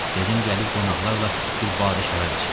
Dedim gəlib qonaqlarla bir badə şərab içim.